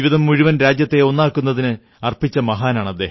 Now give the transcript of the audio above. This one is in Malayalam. ജീവിതം മുഴുവൻ രാജ്യത്തെ ഒന്നാക്കുന്നതിന് അർപ്പിച്ച മഹാനാണ്